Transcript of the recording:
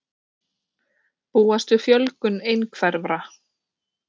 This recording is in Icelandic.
Óeining um efnahagsaðgerðir